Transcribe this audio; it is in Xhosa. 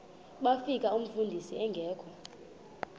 bafika umfundisi engekho